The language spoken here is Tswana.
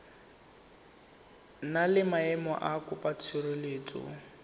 na le maemo a mokopatshireletso